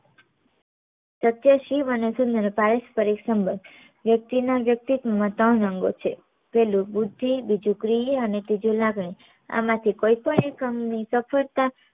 સત્ય શિવ અને સુંદર વ્યક્તિ ના વ્યક્તિત્વ માં ત્રણ અંગો છે પેલું બુદ્ધી બીજું પ્રિય અને ત્રીજું લાગણી આમાં થી કોઈ પણ એક અંગ ની સફળતા